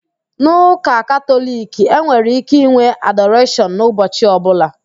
N'ụka Katọliki, e nwere íké ịnwe adoreshọn n'ụbọchi ọbụla